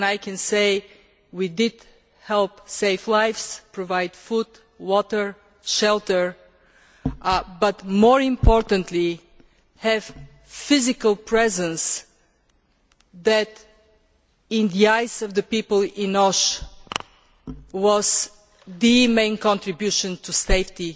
I can say that we did help save lives and provide food, water and shelter but, more importantly, we had a physical presence that, in the eyes of the people in Osh, was the main contribution to safety